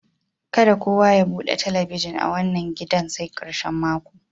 Ka da kowa ya bude telebijin a wanan gidan sai karshen mako.